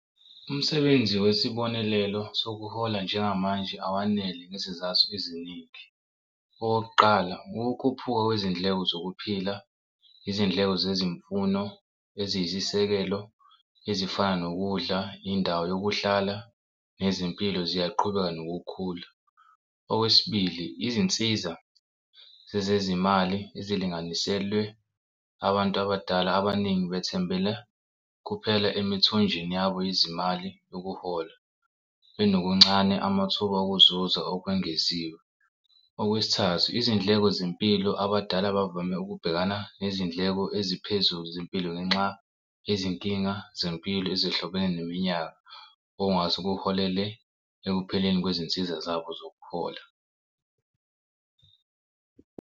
Umsebenzi wesibonelelo sokuhola njengamanje awanele ngezizathu eziningi okokuqala, ukukhuphuka kwezindleko zokuphila izindleko zezimfundo eziyisisekelo ezifana nokudla indawo yokuhlala nezimpilo ziyaqhubeka nokukhula. Okwesibili, izinsiza zezezimali ezilinganiselwe abantu abadala abaningi bethembele kuphela emithonjeni yabo yezimali yokuhola benokuncane amathuba okuzuza okwengeziwe. Okwesithathu, izindleko zempilo abadala bavame ukubhekana nezindleko eziphezulu zempilo ngenxa yezinkinga zempilo ezihlobene neminyaka okungase kuholele ekupheleni kwezinsiza zabo zokuhola.